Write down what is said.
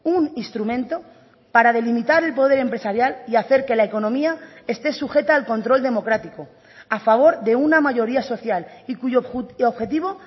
un instrumento para delimitar el poder empresarial y hacer que la economía esté sujeta al control democrático a favor de una mayoría social y cuyo objetivo